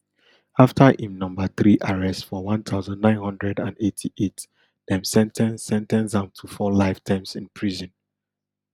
afta im number three arrest for one thousand, nine hundred and eighty-eight dem sen ten ce sen ten ce am to four life terms in prison